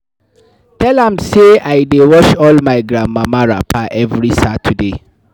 I tell am sey I dey wash all my grandmama wrapper every Saturday.